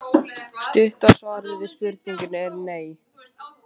Stutta svarið við spurningunni er nei.